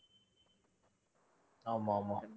ஆமா ஆமா